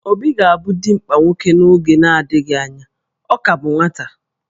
Obi ga-abụ dimkpa nwoke n'oge na-adịghị anya, ọ ka bụ nwata